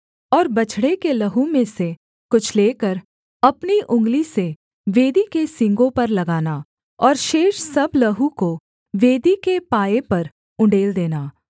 और बछड़े के लहू में से कुछ लेकर अपनी उँगली से वेदी के सींगों पर लगाना और शेष सब लहू को वेदी के पाए पर उण्डेल देना